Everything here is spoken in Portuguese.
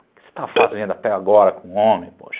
O que você está fazendo até agora com um homem, poxa?